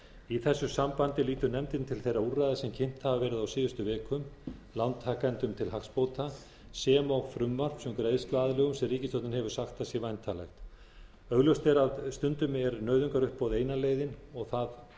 í þessu sambandi lítur nefndin til þeirra úrræða sem kynnt hafa verið á síðustu vikum lántakendum til hagsbóta sem og frumvarps um greiðsluaðlögun sem ríkisstjórnin hefur sagt að sé væntanlegt augljóst er að stundum er nauðungaruppboð eina leiðin og það